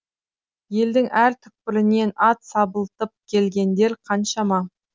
елдің әр түкпірінен ат сабылтып келгендер қаншама